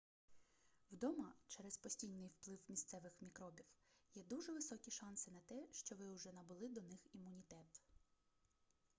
вдома через постійний вплив місцевих мікробів є дуже високі шанси на те що ви уже набули до них імунітет